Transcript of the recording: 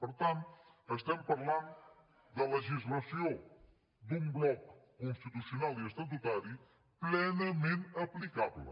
per tant estem parlant de legislació d’un bloc constitucional i estatutari plenament aplicable